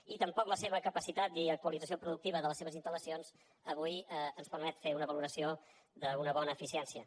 i tampoc la seva capacitat i actualització productiva de les seves instal·una valoració d’una bona eficiència